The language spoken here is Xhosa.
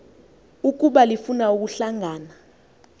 ukuba lifuna ukuhlangana